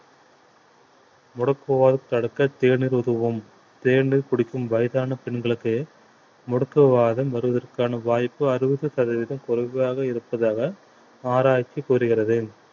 முடக்கு வாதம் தடுக்க தேநீர் உதவும் தேநீர் குடிக்கும் வயதான பெண்களுக்கு முடக்கு வாதம் வருவதற்கான வாய்ப்பு அறுபது சதவீதம் குறைவாக இருப்பதாக ஆராய்ச்சி கூறுகிறது